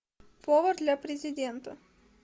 повар для президента